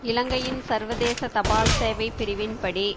இலங்கையின் சர்வதேச தபால் சேவை பிரிவின் படி